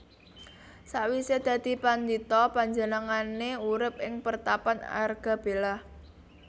Sakwisé dadi pandhita panjenengané urip ing pertapan Argabelah